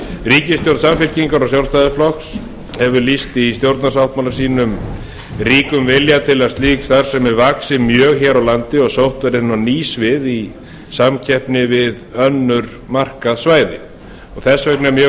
ríkisstjórn samfylkingar og sjálfstæðisflokks hefur lýst í stjórnarsáttmála sínum ríkum vilja til að slík starfsemi vaxi mjög hér á landi og sótt verði inn á ný svið í samkeppni við önnur markaðssvæði þess vegna er mjög